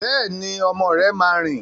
Bẹ́ẹ̀ni, ọmọ rẹ máa rìn.